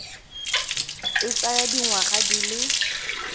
e tsaya dingwaga di le